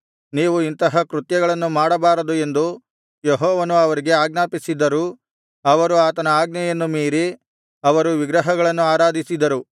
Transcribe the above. ನೀವು ಇಂತಹ ಕೃತ್ಯಗಳನ್ನು ಮಾಡಬಾರದು ಎಂದು ಯೆಹೋವನು ಅವರಿಗೆ ಆಜ್ಞಾಪಿಸಿದ್ದರೂ ಅವರು ಆತನ ಅಜ್ಞೆಯನ್ನು ಮೀರಿ ಅವರು ವಿಗ್ರಹಗಳನ್ನು ಆರಾಧಿಸಿದರು